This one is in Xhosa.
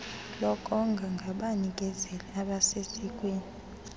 lokonga ngabanikezeli abasesikweni